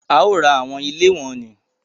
A o rá awọn ilé wọnnì